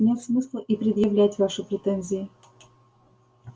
нет смысла и предъявлять ваши претензии